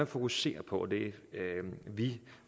fokusere på og det vi